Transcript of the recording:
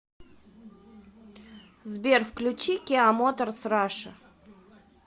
сбер включи киа моторс раша